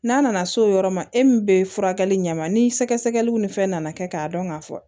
N'a nana s'o yɔrɔ ma e min bɛ furakɛli ɲɛma ni sɛgɛsɛgɛliw ni fɛn nana kɛ k'a dɔn ka fɔ